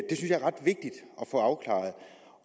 få afklaret